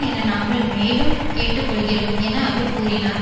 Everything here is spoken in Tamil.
என நாங்கள் மேலும் கேட்டு கொள்கிறோம் என அவர் கூறினார்